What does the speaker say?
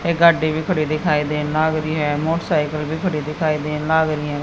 एक गाड़ी भी खड़ी दिखाई दे लाग रही है। मोटरसाइकिल भी खड़ी दिखाई दे लाग रही है।